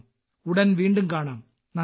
ഉടൻ വീണ്ടും കാണാം നന്ദി